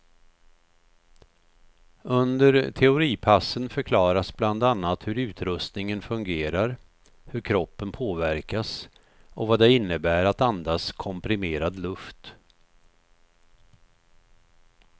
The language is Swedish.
Under teoripassen förklaras bland annat hur utrustningen fungerar, hur kroppen påverkas och vad det innebär att andas komprimerad luft.